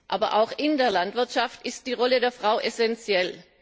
Aber auch in der Landwirtschaft ist die Rolle der Frau essentiell.